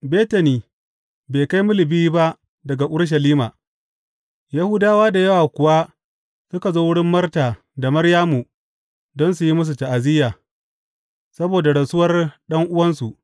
Betani bai kai mil biyu ba daga Urushalima, Yahudawa da yawa kuwa suka zo wurin Marta da Maryamu don su yi musu ta’aziyya, saboda rasuwar ɗan’uwansu.